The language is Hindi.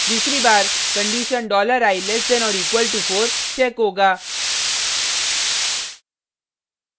दूसरी बार condition $i less than or equal to 4 check होगा